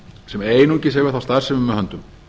sem einungis hefur þá starfsemi með höndum